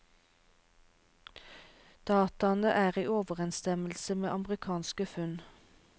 Dataene er i overensstemmelse med amerikanske funn.